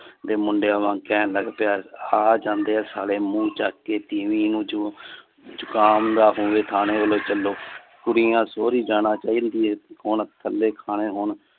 ਦੇ ਮੁੰਡਿਆਂ ਬਾਂਗ ਕੇਹਨ ਲੱਗ ਪਿਆ। ਆ ਜਾਂਦੇ ਆ ਸਾਲੇ ਮੂੰਹ ਚਾਕ ਕੇ ਤੀਵੀਂ ਨੂੰ ਕੁੜੀਆਂ ਸੋਹਰਿ ਜਾਣਾ